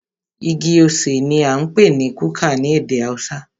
Igi osè ní a ń pé ní kuka ní ède haúsá.